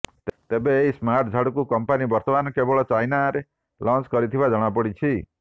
ତେବେ ଏହି ସ୍ମାର୍ଟ ଝାଡୁକୁ କମ୍ପାନୀ ବର୍ତ୍ତମାନ କେବଳ ଚାଇନାରେ ଲଞ୍ଚ କରିଥିବା ଜଣାପଡିଛି